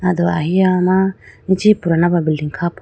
ay do ahiya ma ichi purana ba building kha po.